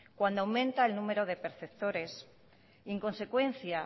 cuando aumenta el número de perceptores y en consecuencia